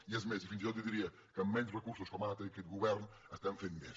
i és més fins i tot jo diria que amb menys recursos com ara té aquest govern fem més